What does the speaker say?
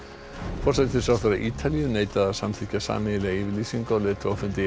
forsætisráðherra Ítalíu neitaði að samþykkja sameiginlega yfirlýsingu á leiðtogafundi